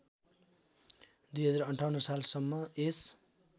२०५८ सालसम्म यस